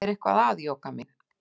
Er eitthvað að, Jóka mín?